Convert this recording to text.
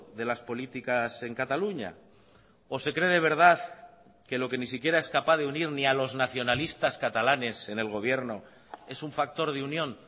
de las políticas en cataluña o se cree de verdad que lo que ni siquiera es capaz de unir ni a los nacionalistas catalanes en el gobierno es un factor de unión